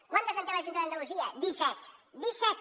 quantes en té la junta d’andalusia disset disset